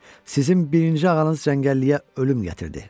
Sizin birinci ağanız cəngəlliyə ölüm gətirdi.